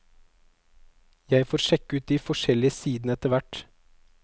Jeg får sjekke ut de forskjellige sidene etter hvert.